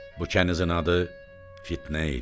Bu kənizin adı Fitnə idi.